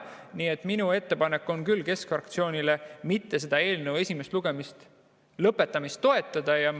Nii et minu ettepanek keskfraktsioonile on küll selle eelnõu esimese lugemise lõpetamist mitte toetada.